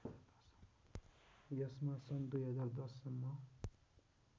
यसमा सन् २०१० सम्म